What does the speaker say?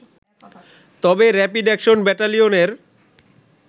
তবে rapid action ব্যাটেলিয়নের